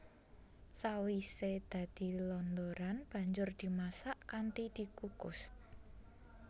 Sawisé dadi londoran banjur dimasak kanthi dikukus